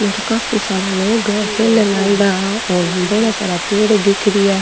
उर काफी सारा लोग है खेलन आयडा हा और बोला सारा पेड़ दिख --